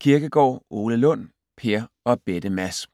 Kirkegaard, Ole Lund: Per og bette Mads